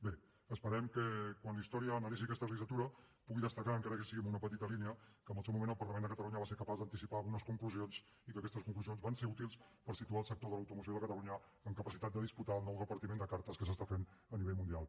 bé esperem que quan la història analitzi aquesta legislatura pugui destacar encara que sigui amb una petita línia que en el seu moment el parlament de catalunya va ser capaç d’anticipar algunes conclusions i que aquestes conclusions van ser útils per situar el sector de l’automoció de catalunya amb capacitat de disputar el nou repartiment de cartes que s’està fent a nivell mundial